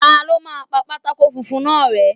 Ta ló máa pa pátákó funfun náà rẹ́.?